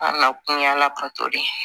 Wala kun y'ala ka to de ye